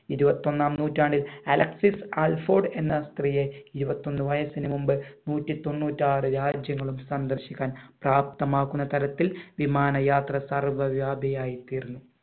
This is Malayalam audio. ഇരുപത്തി ഒന്നാം നൂറ്റാണ്ടിൽ അലക്സിസ് അൽഫോഡ് എന്ന സ്ത്രീയെ ഇരുപത്തി ഒന്ന് വയസിന് മുൻപ് നൂറ്റി തൊന്നൂറ്റി ആറ് രാജ്യങ്ങളും സന്ദർശിക്കാൻ പ്രാപ്തമാക്കുന്ന തരത്തിൽ വിമാന യാത്രക്കാർ തീർന്നു